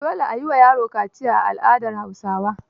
Dole a yi wa yaro kaciya a al'adar Hausawa.